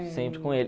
sempre com ele.